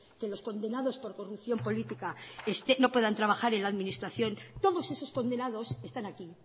que los condenados por corrupción política no puedan trabajar en la administración todos esos condenados están aquí